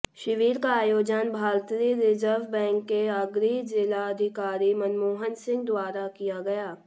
शिविर का आयोजन भारतीय रिजर्व बैंक के अग्रणी जिला अधिकारी मनमोहन सिंह द्वारा किया गया